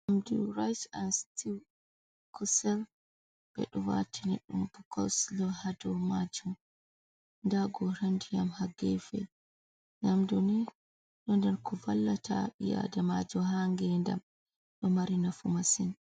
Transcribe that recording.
Nyamdu ris an stiw kusel bedo watine dum bo kosolo ha do majum da goran diyam ha gefe, yamduni do nder ko vallata bi’adamajum ha ngedam do mari nafu masin.